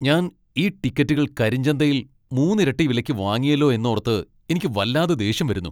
ഞാൻ ഈ ടിക്കറ്റുകൾ കരിഞ്ചന്തയിൽ മൂന്നിരട്ടി വിലയ്ക്ക് വാങ്ങിയല്ലോ എന്നോർത്ത് എനിക്ക് വല്ലാതെ ദേഷ്യം വരുന്നു .